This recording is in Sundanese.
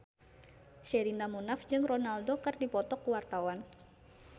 Sherina Munaf jeung Ronaldo keur dipoto ku wartawan